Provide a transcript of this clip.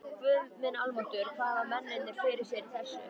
Guð minn almáttugur hvað hafa mennirnir fyrir sér í þessu?